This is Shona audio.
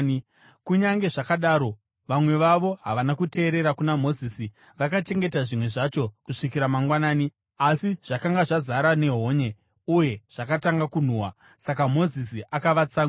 Kunyange zvakadaro, vamwe vavo havana kuteerera kuna Mozisi, vakachengeta zvimwe zvacho kusvikira mangwanani, asi zvakanga zvazara nehonye uye zvatanga kunhuhwa. Saka Mozisi akavatsamwira.